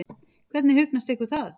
Hvernig hugnast ykkur það?